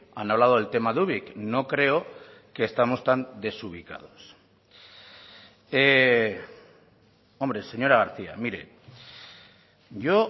han hablado del tema de ubik no creo que estamos tan desubicados hombre señora garcía mire yo